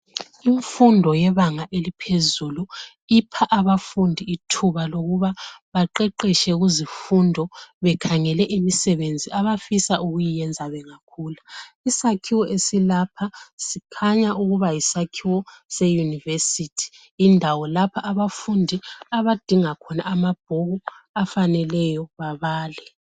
Imfundo yebanga eliphezulu, ipha abafundi ithuba lokuba baqeqetshe kuzifundo bekhangele imisebenzi abafisa ukuyiyenza bengakhula. Isakhiwo esilapha sikhanya ukuba yisakhiwo seyunivesithi, yindawo lapha abafundi abadinga khona amabhuku afaneleyo babale.